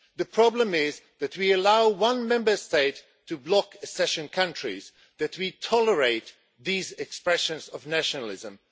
The problem is that we allow one Member State to block accession countries and that we tolerate these expressions of nationalism.